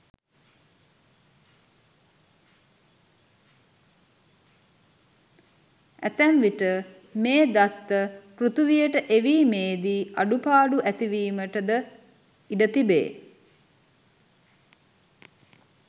ඇතැම් විට මේ දත්ත පෘථිවියට එවීමේදී අඩුපාඩු ඇතිවීමට ද ඉඩ තිබේ.